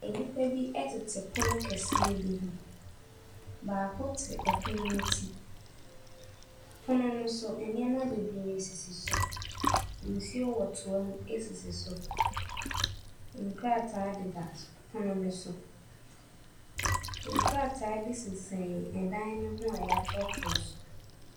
Nnipa bi tete pono kɛseɛ bi ho. Baako te pono no ti. Pono no so, nneɛma bebree sisi so. Nsuo wɔ toa mu sisi so. Nkrataa deda s pono no so. Nkrataa bi sensɛm dan no ho a wɔatwerɛtwerɛ so.